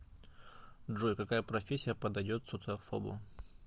джой какая профессия подойдет социофобу